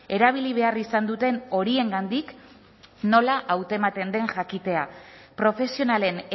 erabili behar izan duten horiengandik nola hautematen den jakitea profesionalen